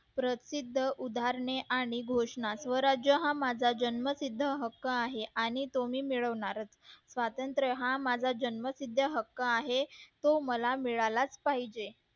प्रत्येक उदाहरणे आणि घोषणा स्वराज्य हा माझा जन्मसिद्ध हक्क आहे आणि तो मी मिळवणारच स्वातंत्र्य हा माझा जन्मसिद्ध हक्क आहे तो मला मिळालाच पाहिजे